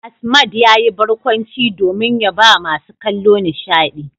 Asmad yayi barkwanci domin ya bawa masu kallo nishadi.